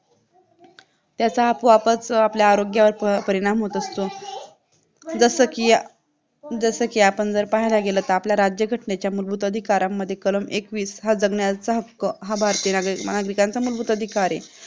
त्याचा आपोआपच आपल्या आरोग्यावर परिणाम होत असतो जसं की जसं की आपण पाहायला गेलो तर आपल्या राज्यघटनेच्या मूलभूत अधिकारामध्ये कलम एकवीस हा जगण्याचा हक्क हा भारतीयांचा मूलभूत अधिकार आहे